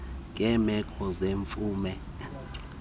ngeemeko zemvume nobhaliso